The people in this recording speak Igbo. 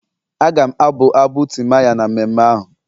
Aga m abụ abụ timaya na mmemme ahụ.